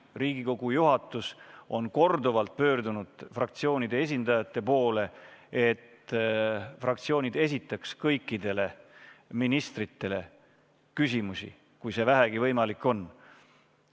Riigikogu juhatus on korduvalt pöördunud fraktsioonide esindajate poole, et fraktsioonid esitaksid kõikidele ministritele küsimusi, kui see vähegi võimalik on.